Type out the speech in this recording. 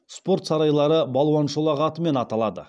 спорт сарайлары балуан шолақ атымен аталады